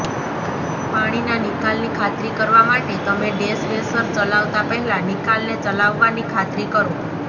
પાણીના નિકાલની ખાતરી કરવા માટે તમે ડૅશવૅશર ચલાવતા પહેલાં નિકાલને ચલાવવાની ખાતરી કરો